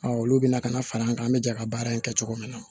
olu bɛna ka na fara an kan an bɛ jɛ ka baara in kɛ cogo min na